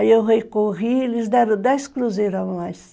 Aí eu recorri e eles deram dez cruzeiros a mais.